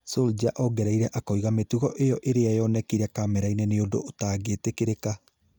Solskjaer ongereire akauga mĩtugo ĩyo ĩrĩa yonekire kamera-inĩ nĩ ũndũ ũtangĩtĩkĩrĩka